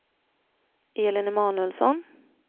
Elin Emanuelsson